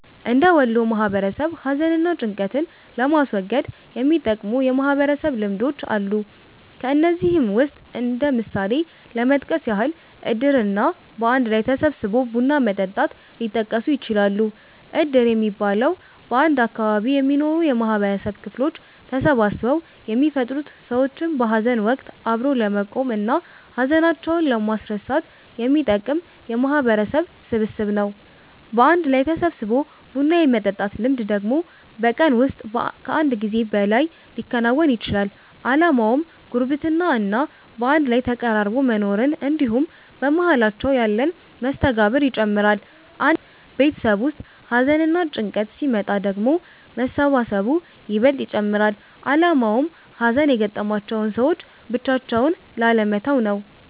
እንደ ወሎ ማህበረሰብ ሀዘን እና ጭንቀትን ለማስወገድ የሚጠቅሙ የማህበረሰብ ልምዶች አሉ። ከነዚህም ውስጥ እንደ ምሳሌ ለመጥቀስ ያህል እድር እና በአንድ ላይ ተሰባስቦ ቡና መጠጣት ሊጠቀሱ ይችላሉ። እድር የሚባለው፤ በአንድ አካባቢ የሚኖሩ የማህበረሰብ ክፍሎች ተሰባስበው የሚፈጥሩት ሰዎችን በሀዘን ወቀት አብሮ ለመቆም እና ሀዘናቸውን ለማስረሳት የሚጠቅም የማህበረሰብ ስብስብ ነው። በአንድ ላይ ተሰባስቦ ቡና የመጠጣት ልምድ ደግሞ በቀን ውስጥ ከአንድ ጊዜ በላይ ሊከወን ይችላል። አላማውም ጉርብትና እና በአንድ ላይ ተቀራርቦ መኖርን እንድሁም በመሃላቸው ያለን መስተጋብር ይጨምራል። አንድ ቤተሰብ ውስጥ ሀዘንና ጭንቀት ሲመጣ ደግሞ መሰባሰቡ ይበልጥ ይጨመራል አላማውም ሀዘን የገጠማቸውን ሰዎች ብቻቸውን ላለመተው ነው።